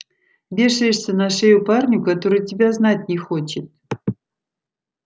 вешаешься на шею парню который тебя знать не хочет